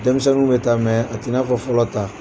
Denmisɛnninw bɛ taa mɛ a tɛ i n'a fɔ fɔlɔ ta